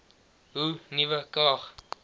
hoe nuwe krag